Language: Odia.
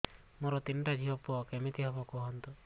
ମୋର ତିନିଟା ଝିଅ ପୁଅ କେମିତି ହବ କୁହତ